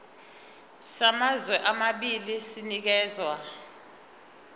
samazwe amabili sinikezwa